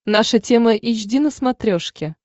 наша тема эйч ди на смотрешке